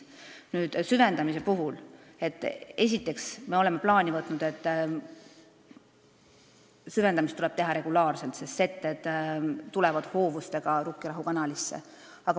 Nüüd, süvendamise puhul me oleme plaani võtnud, et seda tuleb teha regulaarselt, sest setted tulevad hoovustega Rukkirahu kanalisse.